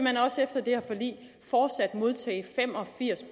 modtage fem og firs